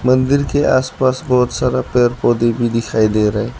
मंदिर के आसपास बहोत सारा पेड़ पौधे भी दिखाई दे रहे--